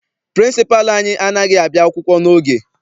Pịrịnsịpalụ anyị anaghị abịa akwụkwọ n'oge.